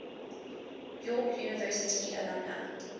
york university alumni